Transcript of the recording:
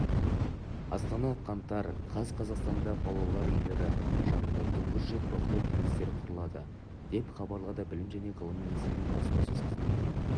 астана қаңтар каз қазақстанда балалар үйлері жанында тұңғыш рет бақылау кеңестері құрылады деп хабарлады білім және ғылым министрлігінің баспасөз қызметінен